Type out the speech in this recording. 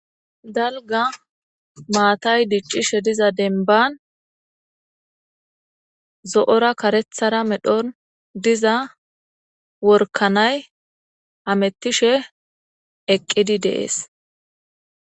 dalga maatay diccishe diza denban zo7ora karethara medhon diza workanay amettishe eqqidi de7es